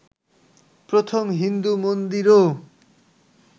প্রথম হিন্দু মন্দিরও